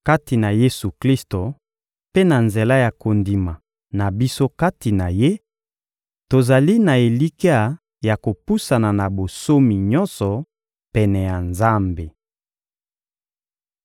Kati na Yesu-Klisto mpe na nzela ya kondima na biso kati na Ye, tozali na elikya ya kopusana na bonsomi nyonso pene ya Nzambe.